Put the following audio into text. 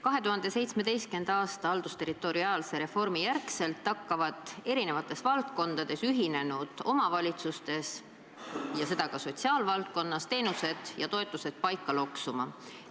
2017. aasta haldusterritoriaalse reformi järgselt hakkavad ühinenud omavalitsuste eri valdkondades – ja seda ka sotsiaalvaldkonnas – teenused ja toetused paika loksuma.